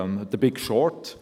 Er heisst «The Big Short».